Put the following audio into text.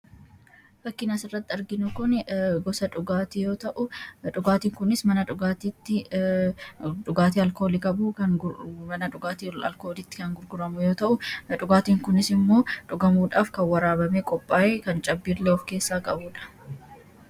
Fakkiin asirratti arginu kun gosa dhugaatii yoo ta'u, dhugaatiin kunis mana dhugaatiitti dhugaatii alkoolii qabu kan mana dhugaatiitti kan gurguramu yoo ta'u, dhugaatiin kunis immoo dhugamuudhaaf kan waraabamee qophaayee kan cabbiillee of keessaa qabudha.